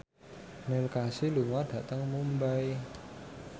Neil Casey lunga dhateng Mumbai